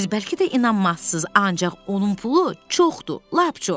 Siz bəlkə də inanmazsız, ancaq onun pulu çoxdur, lap çox.